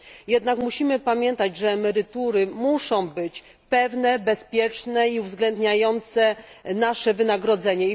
Jednak musimy pamiętać, że emerytury muszą być pewne, bezpieczne i uwzględniające nasze wynagrodzenie.